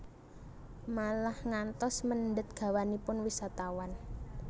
Malah ngantos mendhet gawanipun wisatawan